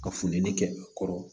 Ka funtɛni kɛ a kɔrɔ